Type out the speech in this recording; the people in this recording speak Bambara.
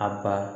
A ba